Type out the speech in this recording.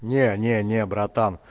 не не не брат